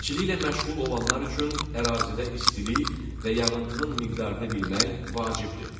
Əkinçiliklə məşğul olanlar üçün ərazidə istilik və yağıntının miqdarını bilmək vacibdir.